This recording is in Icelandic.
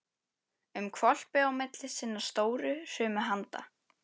um hvolpi á milli sinna stóru hrumu handa.